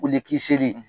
Wuli kisiri